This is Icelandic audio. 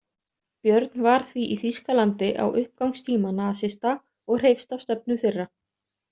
Björn var því í Þýskalandi á uppgangstíma nasista og hreifst af stefnu þeirra.